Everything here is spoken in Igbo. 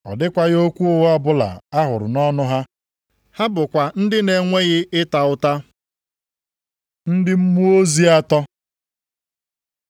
Ọ dịkwaghị okwu ụgha ọbụla a hụrụ nʼọnụ ha. Ha bụkwa ndị na-enweghị ịta ụta. Ndị mmụọ ozi atọ